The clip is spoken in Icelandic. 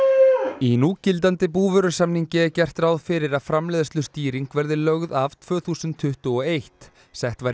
í núgildandi búvörusamningi er gert ráð fyrir að framleiðslustýring verði lögð af tvö þúsund tuttugu og eitt sett var